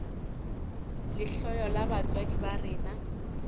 lehloyo la batswadi ba rena